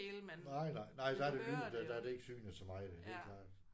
Nej nej. Nej der er det lyden der er det ikke synet så meget. Det er klart